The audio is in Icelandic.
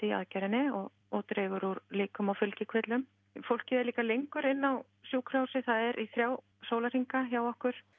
í aðgerðinni og og dregur úr líkum á fylgikvillum fólkið er líka lengur inni á sjúkrahúsi það er í þrjá sólarhringa hjá okkur